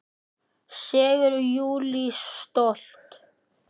Segir Júlía stolt.